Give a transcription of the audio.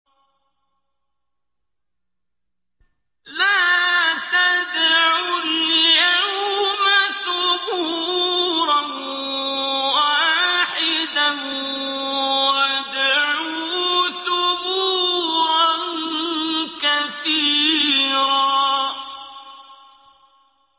لَّا تَدْعُوا الْيَوْمَ ثُبُورًا وَاحِدًا وَادْعُوا ثُبُورًا كَثِيرًا